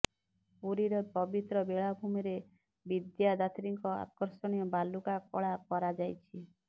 ପୁରୀର ପବିତ୍ର ବେଳାଭୂମିରେ ବିଦ୍ୟାଦାତ୍ରୀଙ୍କ ଆକର୍ଷଣୀୟ ବାଲୁକା କଳା କରାଯାଇଛି